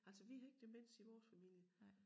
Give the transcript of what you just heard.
Altså vi har ikke demens i vores familie